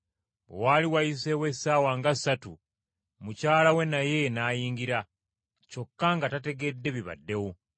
Bwe waali wayiseewo essaawa nga ssatu, mukyala we naye n’ayingira, kyokka nga tategedde bibaddewo.